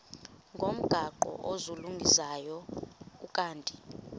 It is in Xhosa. ngomgaqo ozungulezayo ukanti